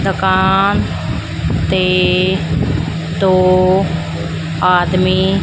ਦੁਕਾਨ ਤੇ ਦੋ ਆਦਮੀ --